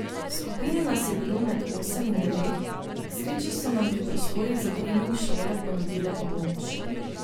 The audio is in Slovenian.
V skupini nas je bilo med osem in devet, k sreči so nam pri prostorih za trening šole ponudile pomoč ...